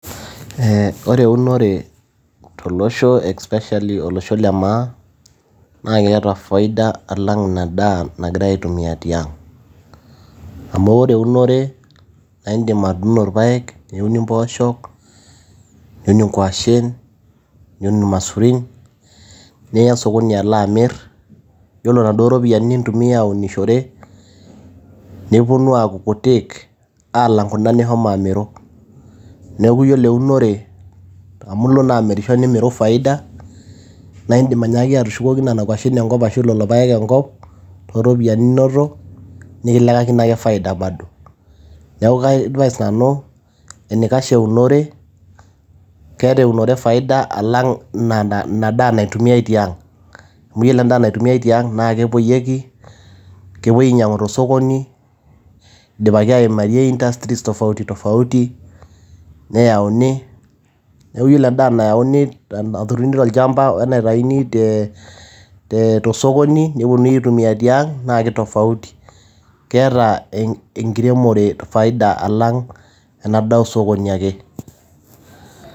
Ore eunore tolosho naa especially to losho le maa, naa keeta faida alang ina daa nagirai aitumia tiang. Amu ore eunore naa idim atuuno ilpaek, impoosho, niun inkwashen, niun ilmaisurin niya sokoni alo amir ore iropiani duo nintumia aunishore, nepuonu aaku kutik alang kuna nishomo amiru. neaku ore eunore amu ilo naa amiru nimiru faida, naa indim ashomo ashuko ki nena kwashen ashu leleo paek enkop too ropiyiani ninoto nikilekekino ake faida bado. Neaku kaiadvace nanu enaikash eunore, keata eunore faida alang' ina daa naitumiai ti ang. Amu ore endaa naitumiae tiang' naa kepuoyieki nepuoi ainyangu te sokoni, eidimaki aimie indansries tofauti, neyauni. neaku ore endaa naturuni tolchamba oe naitayuni to sokoni nepuonuni aitumia tiang' naa keeta tofauti. Keeta enkiremore faida alang' ena daa osokoni ake.